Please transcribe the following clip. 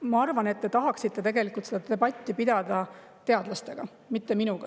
Ma arvan, et te tahaksite tegelikult seda debatti pidada teadlastega, mitte minuga.